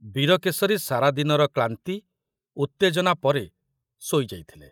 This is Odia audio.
ବୀରକେଶରୀ ସାରା ଦିନର କ୍ଳାନ୍ତି ଉତ୍ତେଜନା ପରେ ଶୋଇ ଯାଇଥିଲେ।